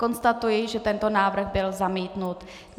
Konstatuji, že tento návrh byl zamítnut.